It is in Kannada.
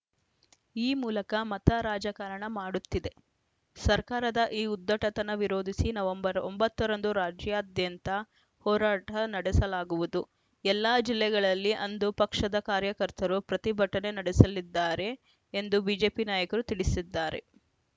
ಈ ಮೂಲಕ ಮತ ರಾಜಕಾರಣ ಮಾಡುತ್ತಿದೆ ಸರ್ಕಾರದ ಈ ಉದ್ಧಟತನ ವಿರೋಧಿಸಿ ನವೆಂಬರ್ ಒಂಬತ್ತ ರಂದು ರಾಜ್ಯಾದ್ಯಂತ ಹೋರಾಟ ನಡೆಸಲಾಗುವುದು ಎಲ್ಲ ಜಿಲ್ಲೆಗಳಲ್ಲಿ ಅಂದು ಪಕ್ಷದ ಕಾರ್ಯಕರ್ತರು ಪ್ರತಿಭಟನೆ ನಡೆಸಲಿದ್ದಾರೆ ಎಂದು ಬಿಜೆಪಿ ನಾಯಕರು ತಿಳಿಸಿದ್ದಾರೆ